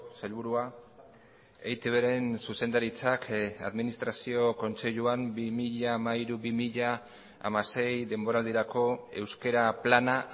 sailburua eitbren zuzendaritzak administrazio kontseiluan bi mila hamairu bi mila hamasei denboraldirako euskara plana